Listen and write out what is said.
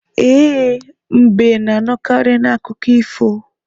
E, mbe na-anọkarị n'akụkọ ifo